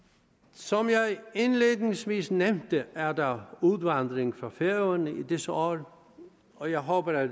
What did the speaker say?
som jeg indledningsvis nævnte er der udvandring fra færøerne i disse år og jeg håber at